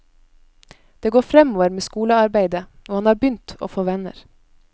Det går fremover med skolearbeidet, og han har begynt å få venner.